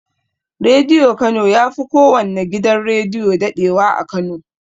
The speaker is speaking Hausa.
Rediyo kano yafi kowanne gidan rediyo daɗewa a kano